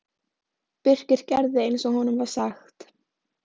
Birkir gerði eins og honum var sagt.